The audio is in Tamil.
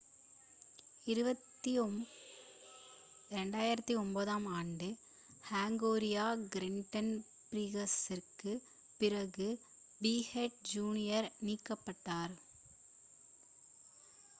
2009 ஆம் ஆண்டு ஹங்கேரிய கிராண்ட் பிரிக்ஸிற்குப் பிறகு பிக்கெட் ஜூனியர் நீக்கப்பட்டார்